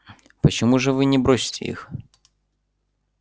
почему же вы не бросите их